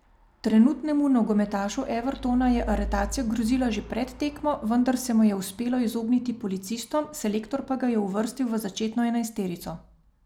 Trenutnemu nogometašu Evertona je aretacija grozila že pred tekmo, vendar se mu je uspelo izogniti policistom, selektor pa ga je uvrstil v začetno enajsterico.